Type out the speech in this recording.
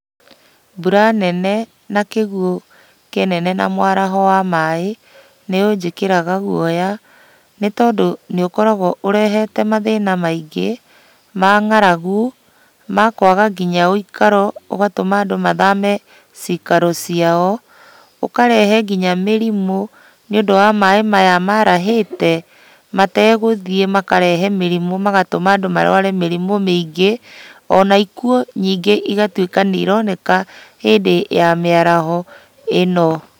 Mbura nene na kĩguo kĩnene na mwaraho wa maĩ, nĩũnjĩkĩraga guoya, nĩtondũ nĩũkoragwo ũrehete mathĩna maingĩ, ma ng'aragu, ma kwaga kinya wĩikaro ũgatũma andũ mathame cikaro ciao. ŨKarehe kinya mĩrimũ nĩũndũ wa maĩ maya marahĩte, mategũthiĩ makarehe mĩrimũ magatũma andũ marũare mĩrimũ mĩingĩ. Ona ikuũ nyingĩ igatuĩka nĩironeka hĩndĩ ya mĩaraho ĩno.